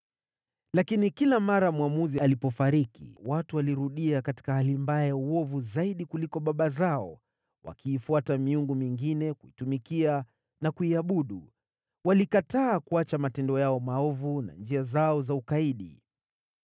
Lakini kila mara mwamuzi alipofariki, watu walirudia katika hali mbaya ya uovu zaidi kuliko baba zao, wakiifuata miungu mingine kuitumikia na kuiabudu. Walikataa kuacha matendo yao maovu na njia zao za ukaidi.